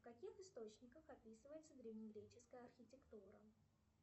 в каких источниках описывается древнегреческая архитектура